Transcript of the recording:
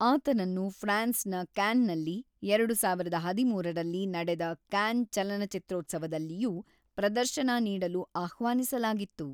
ಆತನನ್ನು ಫ್ರಾನ್ಸ್‌ನ ಕ್ಯಾನ್‌ನಲ್ಲಿ ಎರಡು ಸಾವಿರದ ಹದಿಮೂರರಲ್ಲಿ ನಡೆದ ಕ್ಯಾನ್ ಚಲನಚಿತ್ರೋತ್ಸವದಲ್ಲಿಯೂ ಪ್ರದರ್ಶನ ನೀಡಲು ಆಹ್ವಾನಿಸಲಾಗಿತ್ತು.